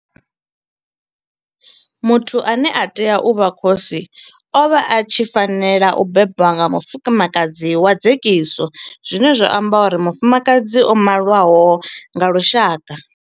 Muthu ane a tea u vha khosi o vha a tshi fanela u bebwa nga mufumakadzi wa dzekiso zwine zwa amba uri mufumakadzi o maliwaho nga lushaka.